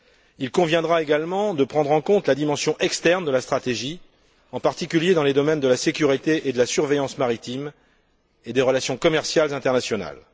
Il conviendra également de prendre en compte la dimension externe de la stratégie, en particulier dans les domaines de la sécurité et de la surveillance maritime et des relations commerciales internationales.